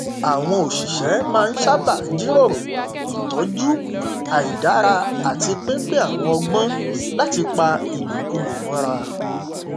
àwọn òṣìṣẹ máa n sábà jíròrò ìtọjú àìdára àti pínpín àwọn ọgbọn láti pa ìlòkulò mọra